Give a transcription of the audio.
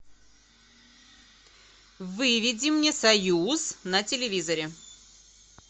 выведи мне союз на телевизоре